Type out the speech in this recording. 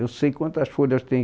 Eu sei quantas folhas tem.